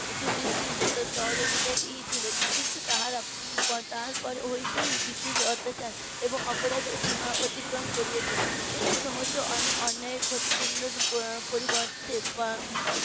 বিশিষ্ট সহযোগিতায় . ছিলেন কিন্তু তাহারা তাহার পর হইতেই এই ব্রিটিশ অত্যাচার এবং অপরাধের সীমা অতিক্রম করিয়েছে এবং সমস্ত অন্যায় এর ক্ষতি পূর্ণর পরিবর্তে হম